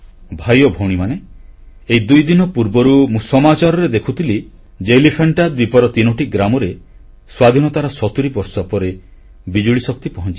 ଭାଇ ଓ ଭଉଣୀମାନେ ଏଇ ଦୁଇଦିନ ପୂର୍ବରୁ ମୁଁ ସମାଚାରରେ ଦେଖୁଥିଲି ଯେ ଏଲିଫାଣ୍ଟା ଦ୍ୱୀପର ତିନୋଟି ଗ୍ରାମରେ ସ୍ୱାଧୀନତାର 70 ବର୍ଷ ପରେ ବିଜୁଳିଶକ୍ତି ପହଂଚିଛି